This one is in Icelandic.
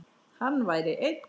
Hann væri einn.